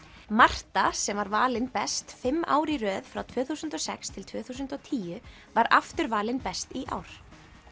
Marta sem var valin best fimm árið í röð frá tvö þúsund og sex til tvö þúsund og tíu var aftur valin best í ár